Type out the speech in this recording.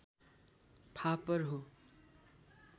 फापर हो